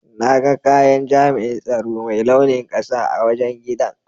Na ga kayan jami'in tsaro Mai launin ƙasa a wajen giɗan.